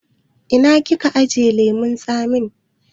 Ina kika ajiye lemun tsamin?